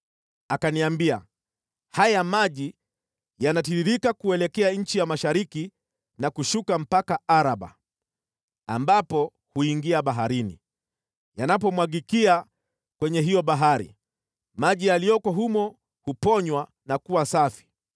Akaniambia, “Haya maji yanatiririka kuelekea nchi ya mashariki na kushuka mpaka Araba, ambapo huingia Baharini. Yanapomwagikia kwenye hiyo Bahari, maji yaliyoko humo huponywa na kuwa safi.